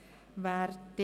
Hier gilt dasselbe.